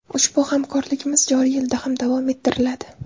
Ushbu hamkorligimiz joriy yilda ham davom ettiriladi.